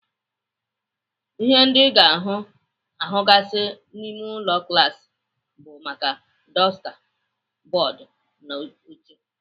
Ihe ndị Ị ga-ahụgasị n'ime klaasị bụ maka, dọsta, bọọdụ, na oche.